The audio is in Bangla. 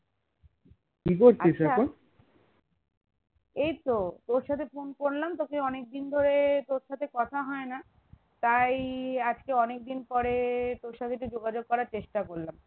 এই তো তোর সাথে phone করলাম তোকে অনেক দিন ধরে তোর সাথে কথা হয় না তাই আজ অনেকদিন পরে তোর সাথে একটু যোগাযোগ করার চেষ্টা করলাম